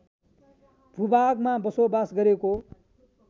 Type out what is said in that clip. भूभागमा बसोबास गरेको